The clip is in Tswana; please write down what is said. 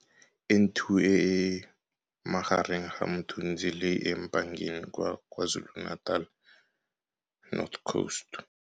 N2 e e mo magareng ga Mthunzini le eMpangeni kwa KwaZulu-Natal North Coast.